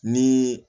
Ni